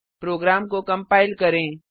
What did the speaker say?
programme को compile करें